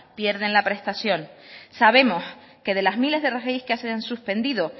pierden la prestación sabemos que de las miles de rgi que se han suspendido